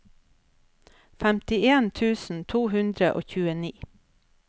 femtien tusen to hundre og tjueni